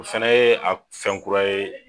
O fɛnɛ ye a fɛn kura ye